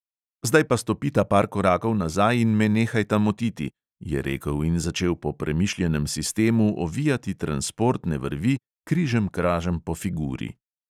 "Zdaj pa stopita par korakov nazaj in me nehajta motiti," je rekel in začel po premišljenem sistemu ovijati transportne vrvi križemkražem po figuri.